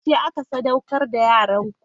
Yaushe aka sadaukar da yaranku?